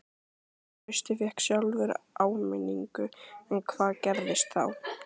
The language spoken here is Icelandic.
Trausti fékk sjálfur áminningu en hvað gerðist þá?